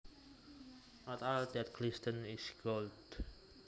Not all that glistens is gold